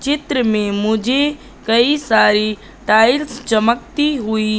चित्र में मुझे कई सारी टाइल्स चमकती हुई--